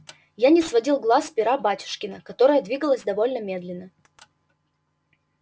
я не сводил глаз с пера батюшкина которое двигалось довольно медленно